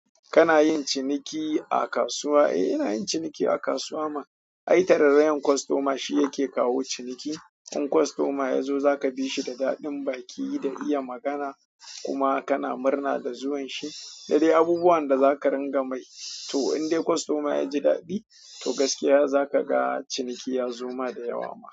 Kana yin ciniki a kasuwa? Eh ina yin ciniki a kasuwa ma. Ai tararrayar kostoma shi yake kawo ciniki. In kostoma ya zo zaka bishi da daɗin baki da iya magana, kuma kana murna da zuwan shi da dai abubuwan da za ka ringa mai. To in dai kostoma ya ji daɗi, to gaskiya za ka ga ciniki ya zo ma da yawa ma.